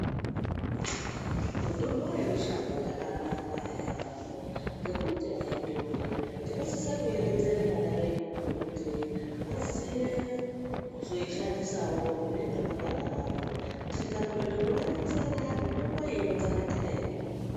Mutombo yemushango yakanaka yaambo ngekuti haidhuri. Tinosise kuronzere vana vedu kuti vaziye kuzoishandisawo mune ramangwana ravo. Tikakorere kuvaronzera mitombo iyi inotsakatika iyi.